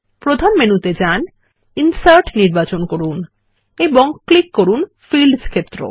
প্রধান মেনুতে যান ইনসার্ট নির্বাচন করুন এবং ক্লিক করুন ফিল্ডস ক্ষেত্র এ